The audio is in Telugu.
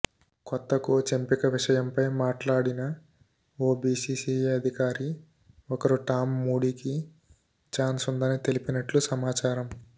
కొత్త కోచ్ ఎంపిక విషయంపై మాట్లాడిన ఓ బిసిసిఐ అధికారి ఒకరు టామ్ మూడీకి చాన్స్ ఉందని తెలిపినట్లు సమాచారం